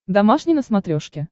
домашний на смотрешке